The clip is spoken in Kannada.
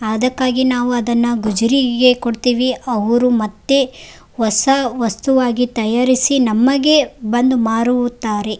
ಆದಕ್ಕಾಗಿ ನಾವು ಅದನ್ನ ಗುಜುರಿಈಗೆ ಕೊಡ್ತೇವೆ ಅವ್ರು ಮತ್ತೆ ಹೊಸ ವಸ್ತುವಾಗಿ ತಯಾರಿಸಿ ನಮಗೆ ಬಂದು ಮಾರುವುತ್ತಾರೆ.